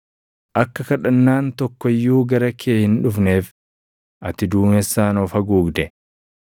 Akka kadhannaan tokko iyyuu gara kee hin dhufneef ati duumessaan of haguugde.